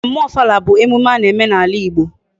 Mmemme ofala bu emume ana eme na ala Igbo